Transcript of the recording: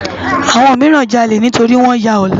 Awòn mirán jàlé nitóri wòn yá òlè